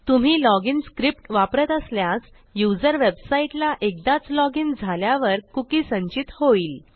तुम्ही log in scriptवापरत असल्यास युजर वेबसाईटला एकदाच लॉग इन झाल्यावर कुकी संचित होईल